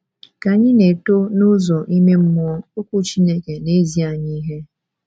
Ka anyị na - eto n’ụzọ ime mmụọ, Okwu Chineke na - ezi anyị ihe.